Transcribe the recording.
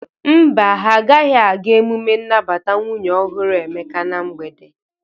Mba, ha agaghị aga emume nnabata nwunye ọhụrụ Emeka na mgbede.